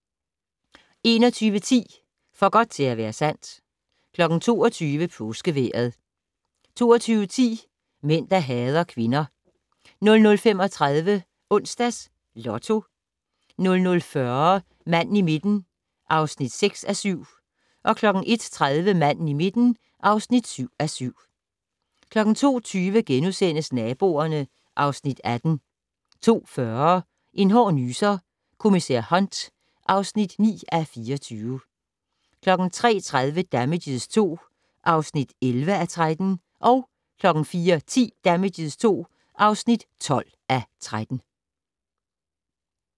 21:10: For godt til at være sandt 22:00: Påskevejret 22:10: Mænd der hader kvinder 00:35: Onsdags Lotto 00:40: Manden i midten (6:7) 01:30: Manden i midten (7:7) 02:20: Naboerne (Afs. 18)* 02:40: En hård nyser: Kommissær Hunt (9:24) 03:30: Damages II (11:13) 04:10: Damages II (12:13)